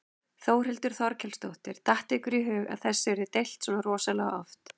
Þórhildur Þorkelsdóttir: Datt ykkur í hug að þessu yrði deilt svona rosalega oft?